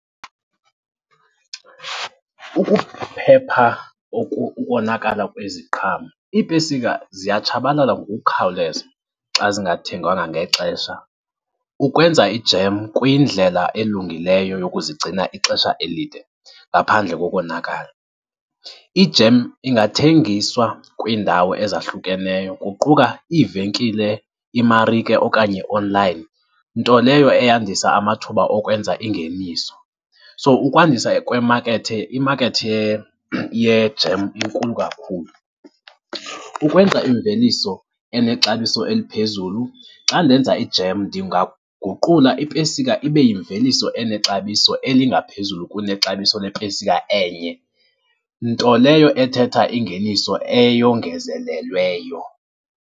Ukuphepha ukonakala kweziqhamo, iipesika ziyatshabalala ngokukhawuleza xa zingathengwanga ngexesha. Ukwenza i-jam kuyindlela elungileyo yokuzigcina ixesha elide, ngaphandle kokonakala. I-jam ingathengiswa kwiindawo ezahlukeneyo kuquka iivenkile, imarike okanye online, nto leyo eyandisa amathuba okwenza ingeniso. So, ukwandisa kwemakethe, imakethi ye-jam inkulu kakhulu. Ukwenza imveliso enexabiso eliphezulu xa ndenza i-jam, ndingaguqula ipesika ibe yimveliso enexabiso elingaphezulu kunexabiso lepesika enye, nto leyo ethetha ingeniso eyongezelelweyo.